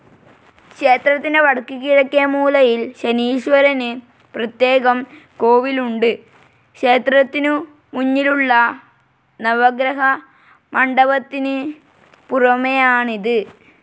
ക്ഷേത്രത്തിൻ്റെ വടക്ക് കിഴക്കേ മൂലയിൽ ശനീശ്വരന് പ്രത്യേകം കോവിൽ ഉണ്ട്. ക്ഷേത്രത്തിനൂമുന്നിലുളള നവഗ്രഹമണ്ഡപത്തിന് പുറമേയാണിത്.